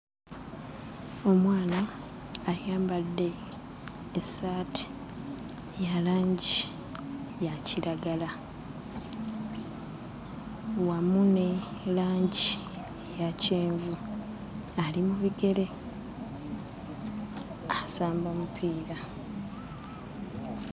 Omwana ayambadde essaati ya langi ya kiragala. Wamu ne langi eya kyenvu. Ali mu bigere asamba mupiira.